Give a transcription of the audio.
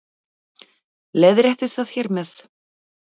Leiðréttist það hér með